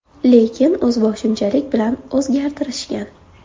Lekin o‘zboshimchalik bilan o‘zgartirishgan.